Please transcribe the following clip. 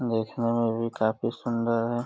देखने में भी काफी सुंदर है।